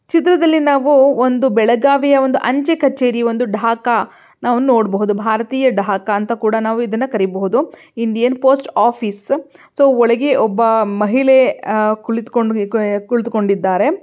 ಚಿತ್ರದಲ್ಲಿ ನಾವು ಒಂದು ಬೆಳಗಾವಿಯ ಒಂದು ಅಂಚೆ ಕಚೇರಿ ಒಂದು ಡಾಕ ನಾವು ನೋಡಬಹುದು ಭಾರತೀಯ ಡಾಕ ಅಂತ ಕೂಡ ನಾವು ಇದನ್ನ ಕರೆಯಬಹುದು. ಇಂಡಿಯನ್ ಪೋಸ್ಟ್ ಆಫೀಸ್ ಸೋ ಒಳಗೆ ಒಬ್ಬ ಮಹಿಳೆ ಕುಳಿತುಕೊಂಡಿದ್ದಾರೆ.